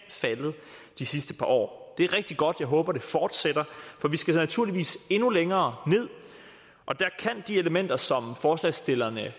de sidste par år det er rigtig godt og jeg håber det fortsætter for vi skal naturligvis endnu længere ned og der kan de elementer som forslagsstillerne